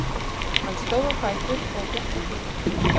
Hann stóð á fætur og gekk að glugganum.